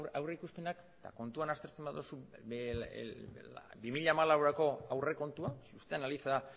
aurrikuspenak eta kontuan aztertzen baduzu bi mila hamalaurako aurrekontua si usted analiza